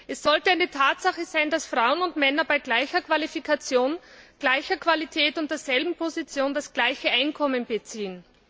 Es sollte eine Tatsache sein, dass Frauen und Männer bei gleicher Qualifikation, gleicher Qualität und derselben Position das gleiche Einkommen beziehen.